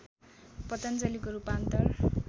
पतञ्जलिको रूपान्तर